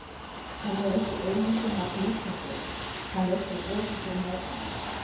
Hann er ekki einu sinni að flýta sér, hann er svo öruggur með sig!